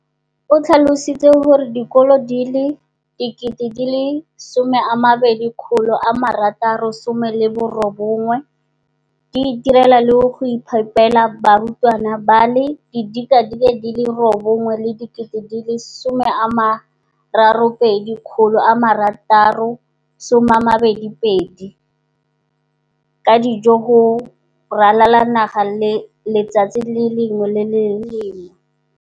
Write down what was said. o tlhalositse gore dikolo di le 20 619 di itirela le go iphepela barutwana ba le 9 032 622 ka dijo go ralala naga letsatsi le lengwe le le lengwe.